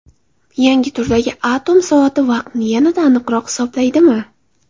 Yangi turdagi atom soati vaqtni yanada aniqroq hisoblaydimi?.